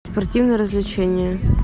спортивные развлечения